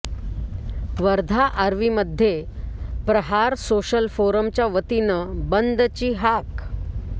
वर्धा आर्वीमध्ये प्रहार सोशल फोरमच्या वतीनं बंदची हाक